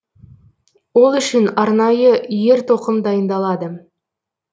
ол үшін арнайы ер тоқым дайындалады